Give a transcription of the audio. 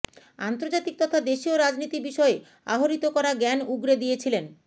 আন্তর্জাতিক তথা দেশীয় রাজনীতি বিষয়ে আহরিত করা জ্ঞান উগরে দিয়েছিলেন